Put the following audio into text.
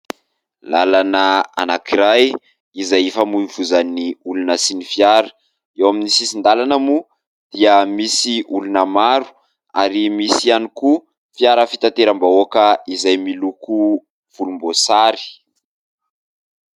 Lalana anankiray izay ifamoivoizan'ny olona sy ny fiara. Eo amin'ny sisin-dalana moa dia misy olona maro ary misy ihany koa fiara fitateram-bahoaka izay miloko volomboasary.